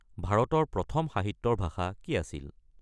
ভাৰতৰ প্ৰথম সাহিত্যৰ ভাষা কি আছিল?